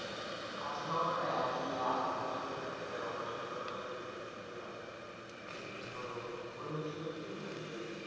আচ্ছা সমস্যা না আমি ইয়া আপনাদের চোখের operation এর ব্যাপারে বলি কোনো ব্যাপার না তো হয়েছিল কি যে